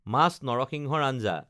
মাছ নৰসিংহৰ আঞ্জা